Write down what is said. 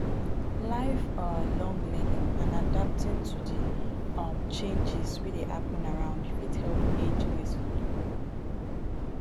life um long learning and adapting to di um changes wey dey happen around fit help age gracefully